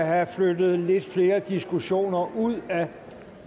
have flyttet lidt flere diskussioner ud af